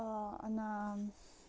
она